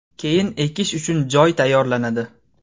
Keyin ekish uchun joy tayyorlanadi.